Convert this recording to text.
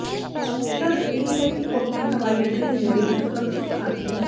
ਤੱਥ ਇਹ ਹੈ ਕਿ ਉੱਥੇ ਹਵਾਈ ਅੱਡੇ ਦੇ ਨੇੜੇ ਇਕ ਸੁਰੱਖਿਅਤ ਪਾਰਕਿੰਗ